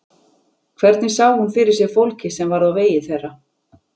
Hvernig sá hún fyrir sér fólkið sem varð á vegi þeirra?